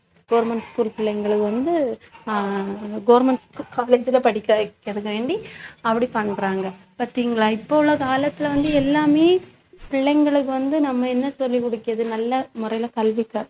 government school பிள்ளைங்களுக்கு வந்து அஹ் government school college ல படிக்க வைக்கறதுக்கு வேண்டி அப்படி பண்றாங்க பாத்தீங்களா இப்ப உள்ள காலத்துல வந்து எல்லாமே பிள்ளைங்களுக்கு வந்து நம்ம என்ன சொல்லி நல்ல முறைல கல்வி கற்~